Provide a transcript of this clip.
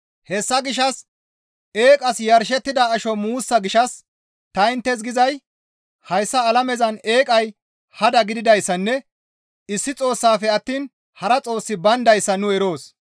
Hessa gishshas eeqas yarshettida asho muussa gishshas ta inttes gizay hayssa alamezan eeqay hada gididayssanne issi Xoossaafe attiin hara Xoossi bayndayssa nu eroos.